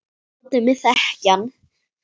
Látið mig þekkja hann